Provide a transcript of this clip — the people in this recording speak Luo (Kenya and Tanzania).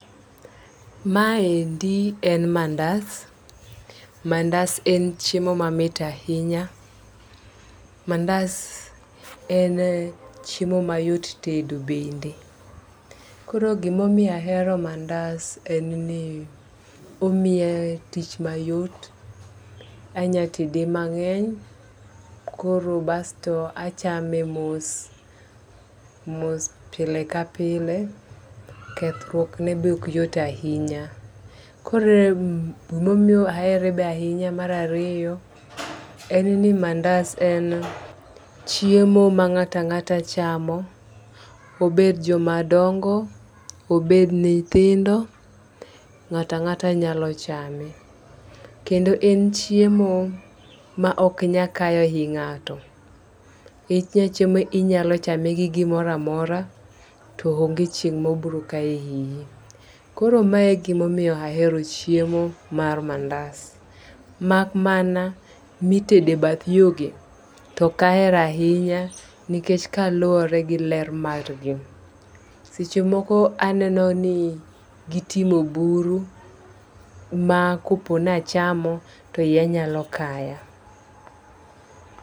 Ma endi en mandas, mandas en chiemo mamit ahinya. Mandas en chiemo mayot tedo bende. Koro gimomiyo ahero mandas en ni omiya tich mayot, anya tede mang'eny koro basto achame mos mos pile ka pile, kethruok ne bok yot ahinya. Koro gimomiyo ahere be mar ariyo en ni mandas en chiemo ma ng'ata ng'ata chamo obed joma dongo obed nithindo , ng'ata ng'ata nyalo chame. Kendo en chiemo ma ok nya kayo ii ng'ato , inya chame inyalo chame gi gimora mora to onge chieng' mobro ka iyi. Koro mae gimomiyo ahero chiemo mar manda mak mana nitede bath yogi tok ahero ahinya nikech kaluwore gi ler mar gi .Seche moko aneno ni gitimo buru, ma kopo nachamo to iya nyalo kaya.